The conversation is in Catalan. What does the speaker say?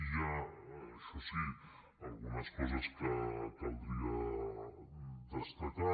hi ha això sí algunes coses que caldria destacar